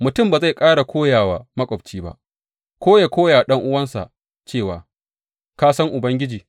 Mutum ba zai ƙara koya wa maƙwabci ba, ko ya koya wa ɗan’uwansa cewa, Ka san Ubangiji,’